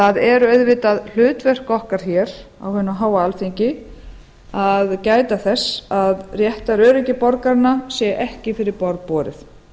það er auðvitað hlutverk okkar hér á hinu háa alþingi að gæta þess að réttaröryggi borgaranna sé ekki fyrir borð borið